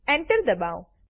enter દબાવો